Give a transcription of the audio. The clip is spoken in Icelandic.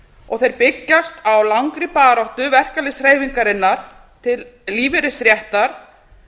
og þeir byggjast á langri baráttu verkalýðshreyfingarinnar til lífeyrisréttar